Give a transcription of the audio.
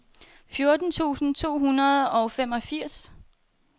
fjorten tusind to hundrede og femogfirs